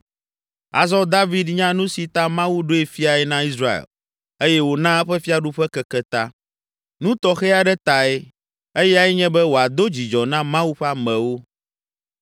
Azɔ David nya nu si ta Mawu ɖoe fiae na Israel eye wòna eƒe fiaɖuƒe keke ta. Nu tɔxɛ aɖe tae, eyae nye be wòado dzidzɔ na Mawu ƒe amewo.